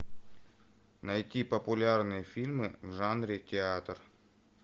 найти популярные фильмы в жанре театр